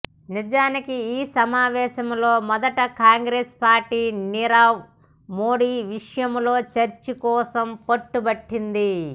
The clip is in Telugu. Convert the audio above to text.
నిజానికి ఈ సమావేశాల్లో మొదట కాంగ్రేసు పార్టీ నీరవ్ మోడీ విషయంలో చర్చ కోసం పట్టుబట్టింది